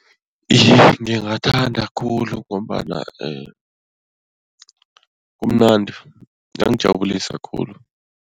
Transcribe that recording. Iye, ngingathanda khulu ngombana kumnandi, kuyangijabulisa khulu.